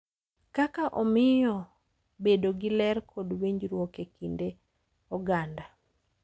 Kaka omiyo bedo gi ler kod winjruok e kind oganda.